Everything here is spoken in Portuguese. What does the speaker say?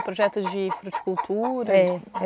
Projetos de? É.